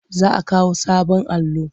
Za a kawo sabon allo.